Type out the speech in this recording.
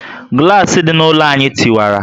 Gulasi dị na ụlọ anyị tiwara